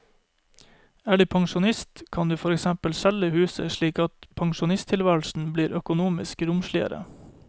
Er du pensjonist, kan du for eksempel selge huset slik at pensjonisttilværelsen blir økonomisk romsligere.